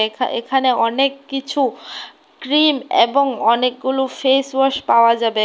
এখা-এখানে অনেক কিছু ক্রিম এবং অনেকগুলো ফেসওয়াশ পাওয়া যাবে।